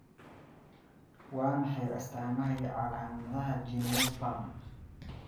Waa maxay astamaha iyo calaamadaha Geniospasm?